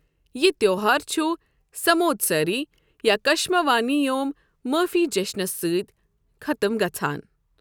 یہ تہوار چھُ سموتساری یا کشماوانی یوم معٲفی جشنَس سۭتی ختم گژھَان۔